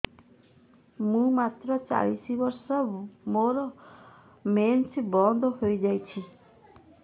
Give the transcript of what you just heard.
ମୁଁ ମାତ୍ର ଚାଳିଶ ବର୍ଷ ମୋର ମେନ୍ସ ବନ୍ଦ ହେଇଯାଇଛି